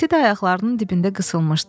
İti də ayaqlarının dibində qısılmışdı.